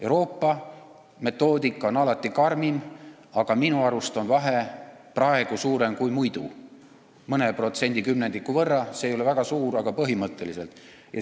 Euroopa metoodika on alati karmim, aga minu arust on vahe praegu suurem kui muidu, küll mõne protsendikümnendiku võrra, see ei ole väga suur, kuid asi on põhimõttes.